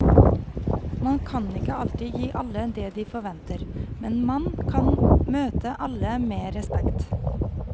Man kan ikke alltid gi alle det de forventer, men man kan møte alle med respekt.